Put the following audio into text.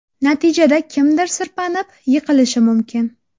Natijada kimdir sirpanib, yiqilishi mumkin.